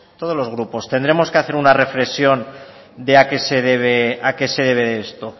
todos los grupos tendremos que hacer una reflexión de a qué se debe esto